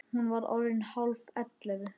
Hún var orðin hálf ellefu.